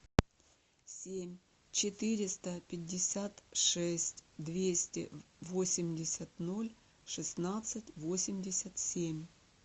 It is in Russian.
семь четыреста пятьдесят шесть двести восемьдесят ноль шестнадцать восемьдесят семь